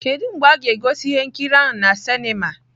Kedu mgbe a ga-egosi ihe nkiri ahụ na sinima?